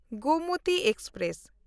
Gomti express